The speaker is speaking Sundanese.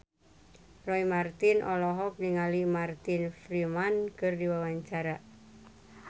Roy Marten olohok ningali Martin Freeman keur diwawancara